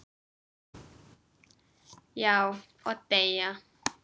Já, og deyja